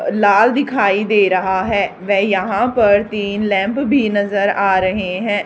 लाल दिखाई दे रहा है वे यहां पर तीन लैंप भी नजर आ रहे हैं।